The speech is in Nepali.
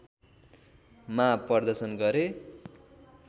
मा प्रदर्शन गरे